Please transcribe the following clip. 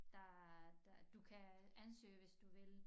Der der du kan ansøge hvis du vil